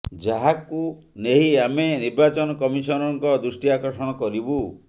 ଯାହାକୁ ନେଇ ଆମେ ନିର୍ବାଚନ କମିଶନଙ୍କ ଦୃଷ୍ଟି ଆକର୍ଷଣ କରିବୁ